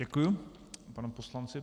Děkuji panu poslanci.